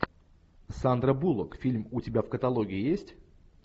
сандра буллок фильм у тебя в каталоге есть